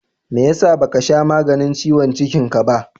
meyasa ba Ka sha maganin ciwon cikin Ka ba